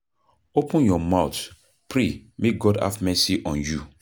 Open your mouth pray make God have mercy on you.